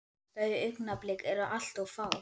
Þau augnablik eru bara allt of fá.